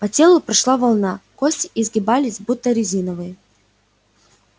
по телу прошла волна кости изгибались будто резиновые